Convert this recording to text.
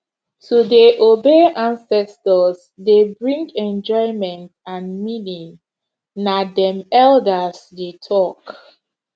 to dey obey ancestors dey bring enjoyment and meaning na dem elders dey talk